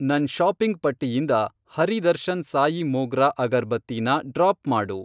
ನನ್ ಷಾಪಿಂಗ್ ಪಟ್ಟಿಯಿಂದ ಹರಿ ದರ್ಶನ್ ಸಾಯಿ ಮೋಗ್ರಾ ಅಗರ್ಬತ್ತಿನ ಡ್ರಾಪ್ ಮಾಡು.